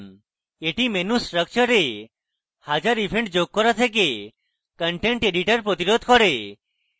এটি menu structure a হাজার events যোগ করা থেকে content editor প্রতিরোধ করবে